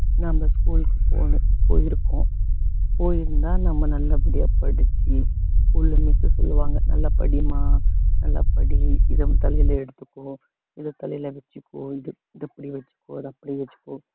நாம school க்கு போயி~ போயிருக்கோம் போயிருந்தா நம்ம நல்லபடியா படிச்சு குடும்பத்த சொல்லுவாங்க நல்லா படிம்மா நல்லா படி இத உன் தலையில எடுத்துக்கோ இத தலையில வச்சுக்கோ இது இத இப்படி வச்சுக்கோ அது அப்படி வச்சுக்கோ